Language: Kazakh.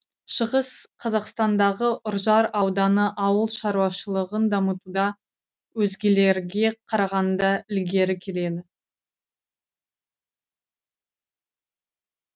шығыс қазақстандағы үржар ауданы ауыл шаруашылығын дамытуда өзгелерге қарағанда ілгері келеді